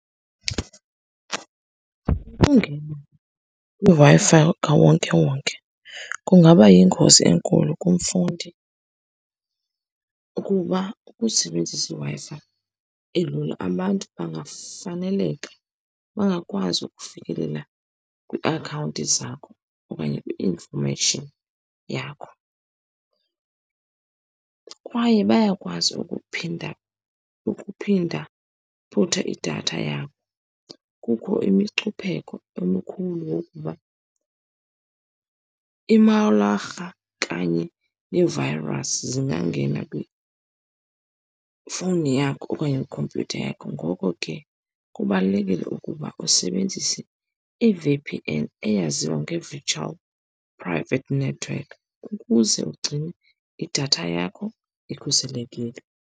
Ukungena kwiWi-Fi ka wonkewonke kungaba yingozi enkulu kumfundi, kuba ukusebenzisa iWi-Fi elula abantu bangafaneleka, bangakwazi ukufikelela kwiiakhawunti zakho okanye infomeyishini yakho. Kwaye bayakwazi ukuphinda, ukuphinda , idatha yakho. Kukho imicupheko emikhulu wokuba imawularha kanye nee-virus zingangena kwifowuni yakho okanye kwikhompyutha yakho. Ngoko ke, kubalulekile ukuba usebenzise i-V_P_N, eyaziwa nge-virtual private network, ukuze ugcine idatha yakho ikhuselekile.